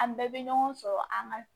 An bɛɛ bɛ ɲɔgɔn sɔrɔ an ka